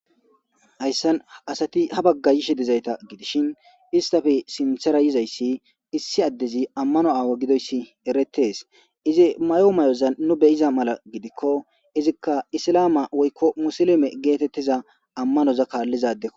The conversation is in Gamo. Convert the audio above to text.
''Haysan asati ha bagga yishe dizayta shin eztape sinthera yizaysi esi adezi amano awa gididaysi eretees. E mayo mayozan nu be'iza mala gidikko ezika eslama woykko musulume geetetiza amanoza kaaliza adeko.''